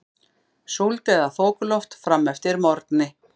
Súld eða þokuloft fram eftir morgni